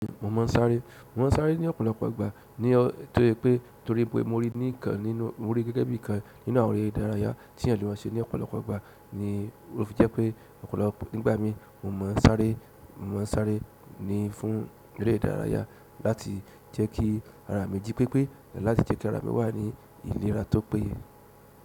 Mo máa ń sáré, mo máa ń sáré ní ọ̀pọ̀lọpọ̀ ìgbà, mori gẹ́gẹ́ bí ìkan nínú àwọn eré ìdárayá tí èèyàn lè má ṣe ní ọ̀pọ̀lọpọ̀ ìgbà. Jẹ́ pé nígbà mi mo mọ́ sáré, mo mọ́ sáré ní fún eré ìdárayá láti jẹ́ kí ara mi jí pépé láti jẹ́ kí ara mi wà ní ìlera tó péye.